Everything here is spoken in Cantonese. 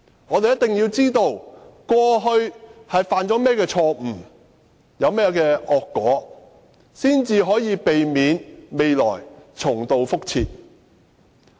我們一定要知道過去犯了甚麼錯誤，招致甚麼惡果，才能夠避免將來重蹈覆轍。